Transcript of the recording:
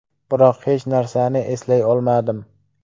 Biroq hech narsani eslay olmadim.